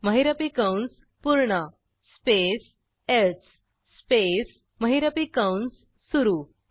महिरपी कंस पूर्ण स्पेस एल्से स्पेस महिरपी कंस सुरू